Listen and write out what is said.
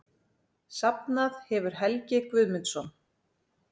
Safnað hefur Helgi Guðmundsson.